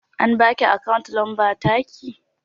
An baki akawu lambar taki?